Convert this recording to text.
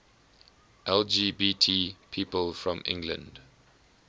lgbt people from england